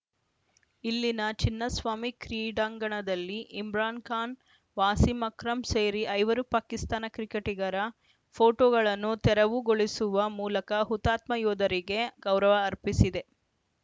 ಇಲ್ಲಿನ ಚಿನ್ನಸ್ವಾಮಿ ಕ್ರೀಡಾಂಗಣದಲ್ಲಿ ಇಮ್ರಾನ್‌ ಖಾನ್‌ ವಾಸಿಂ ಅಕ್ರಂ ಸೇರಿ ಐವರು ಪಾಕಿಸ್ತಾನ ಕ್ರಿಕೆಟಿಗರ ಫೋಟೋಗಳನ್ನು ತೆರವುಗೊಳಿಸುವ ಮೂಲಕ ಹುತಾತ್ಮ ಯೋಧರಿಗೆ ಗೌರವ ಅರ್ಪಿಸಿದೆ